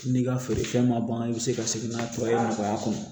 N'i ka feere fɛn ma ban i bɛ se ka segin n'a nɔgɔya kɔnɔ